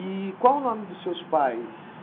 E qual o nome dos seus pais?